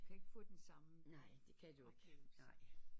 Du kan ikke få den samme